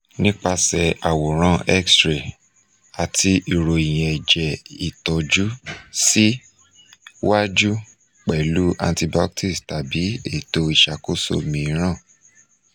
nipase aworan x ray ati iroyin eje itoju si waju pelu antibiotics tabi eto isakoso miiran